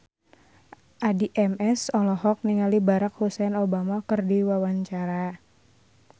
Addie MS olohok ningali Barack Hussein Obama keur diwawancara